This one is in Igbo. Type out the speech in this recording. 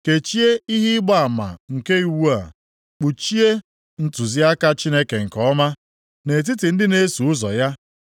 Kechie ihe ịgba ama nke iwu a kpuchie ntụziaka Chineke nke ọma nʼetiti ndị na-eso ụzọ ya.